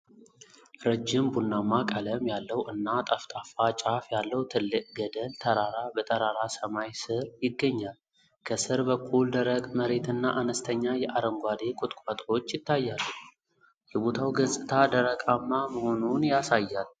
ረጅም፣ ቡናማ ቀለም ያለው እና ጠፍጣፋ ጫፍ ያለው ትልቅ ገደል ተራራ በጠራራ ሰማይ ስር ይገኛል። ከስር በኩል፣ ደረቅ መሬትና አነስተኛ የአረንጓዴ ቁጥቋጦዎች ይታያሉ፤ የቦታው ገጽታ ደረቃማ መሆኑን ያሳያል።